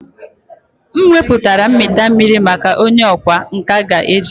M weputara mita mmiri maka onye ọkwá nkà ga-eji.